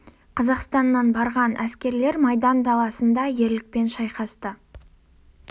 қазақстаннан барған әскерлер майдан даласында ерлікпен шайқасты